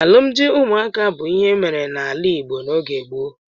Alụmdi ụmụaka bụ ịhe emere n'ala Igbo oge gboo.